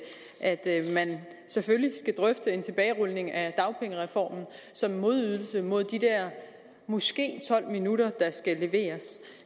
at man selvfølgelig skal drøfte en tilbagerulning af dagpengereformen som modydelse mod de der måske tolv minutter der skal leveres